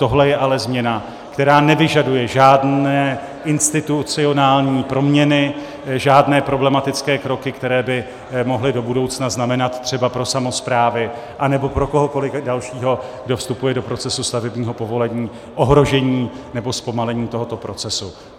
Tohle je ale změna, která nevyžaduje žádné institucionální proměny, žádné problematické kroky, které by mohly do budoucna znamenat třeba pro samosprávy nebo pro kohokoliv dalšího, kdo vstupuje do procesu stavebního povolení, ohrožení nebo zpomalení tohoto procesu.